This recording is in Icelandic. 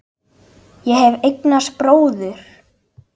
Ég hef eignast bróður.